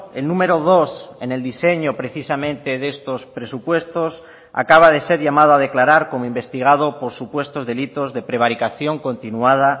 el número dos en el diseño precisamente de estos presupuestos acaba de ser llamado a declarar como investigado por supuestos delitos de prevaricación continuada